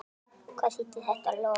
Hvað þýddi þetta loforð?